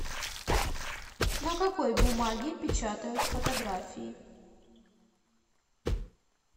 на какой бумаге печатают фотографии